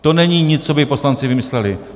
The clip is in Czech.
To není nic, co by poslanci vymysleli.